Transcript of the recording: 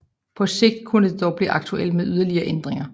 På sigt kunne det dog blive aktuelt med yderligere ændringer